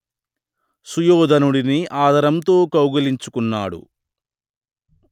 సుయోధనుడిని ఆదరంతో కౌగలించుకున్నాడు